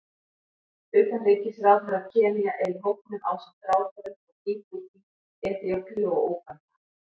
Utanríkisráðherra Kenía er í hópnum ásamt ráðherrum frá Djíbútí, Eþíópíu og Úganda.